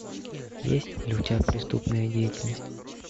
есть ли у тебя преступная деятельность